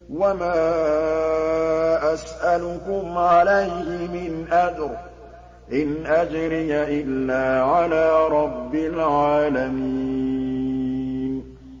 وَمَا أَسْأَلُكُمْ عَلَيْهِ مِنْ أَجْرٍ ۖ إِنْ أَجْرِيَ إِلَّا عَلَىٰ رَبِّ الْعَالَمِينَ